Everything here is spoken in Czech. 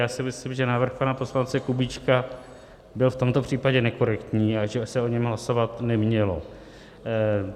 Já si myslím, že návrh pana poslance Kubíčka byl v tomto případě nekorektní a že se o něm hlasovat nemělo.